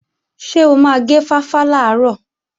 Ṣé o máa gé fáfá làárọ̀?